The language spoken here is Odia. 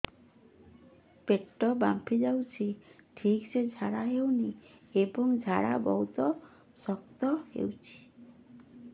ପେଟ ଫାମ୍ପି ଯାଉଛି ଠିକ ସେ ଝାଡା ହେଉନାହିଁ ଏବଂ ଝାଡା ବହୁତ ଶକ୍ତ ହେଉଛି